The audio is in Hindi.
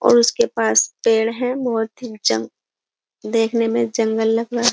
और उसके पास पेड़ है बहुत ही जंग देखने में जंगल लग रहा है।